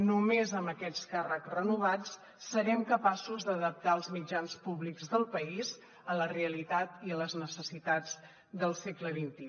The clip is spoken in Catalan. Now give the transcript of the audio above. només amb aquests càrrecs renovats serem capaços d’adaptar els mitjans públics del país a la realitat i a les necessitats del segle xxi